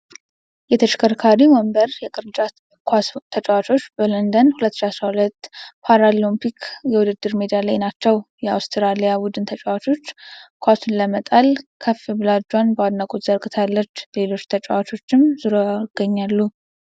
የተሽከርካሪ ወንበር የቅርጫት ኳስ ተጫዋቾች በሎንዶን 2012 ፓራሊምፒክ የውድድር ሜዳ ላይ ናቸው። የአውስትራሊያ ቡድን ተጫዋች ኳሱን ለመጣል ከፍ ብላ እጇን በአድናቆት ዘርግታለች። ሌሎች ተጫዋቾችም ዙሪያዋን ይገኛሉ።